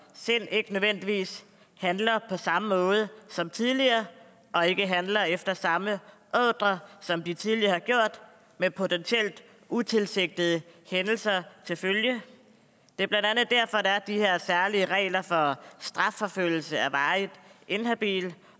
sind ikke nødvendigvis handler på samme måde som tidligere og ikke handler efter samme ordrer som de tidligere har gjort med potentielt utilsigtede hændelser til følge det er blandt andet derfor der er de her særlige regler for strafforfølgelse af varigt inhabile